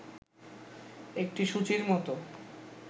একটি সূচীর মত